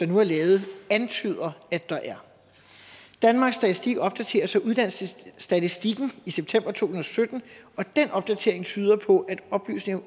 nu er lavet antyder at der er danmarks statistik opdaterer så uddannelsesstatistikken i september to og sytten og den opdatering tyder på at oplysninger